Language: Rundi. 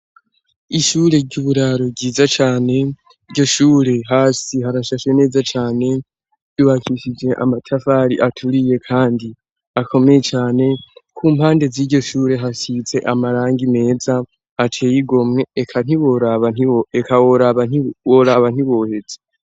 Ishure ry'uburaro ryiza cane, iryo shure hasi harashashe neza cane ryubakishije amatafari aturiye kandi akomeye cane kumpande ziryoshure hasize amaranga meza ateye igomwe eka woraba ntiwoheza.